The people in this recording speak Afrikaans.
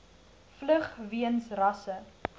vlug weens rasse